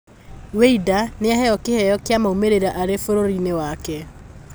Wĩinda nĩaheyo kĩheyo kĩa maumĩrĩra arĩ bũrũriinĩ wake.